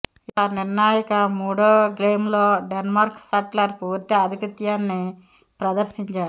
ఇక నిర్ణాయక మూడో గేమ్లో డెన్మార్క్ షట్లర్ పూర్తి ఆధిపత్యాన్ని ప్రదర్శించాడు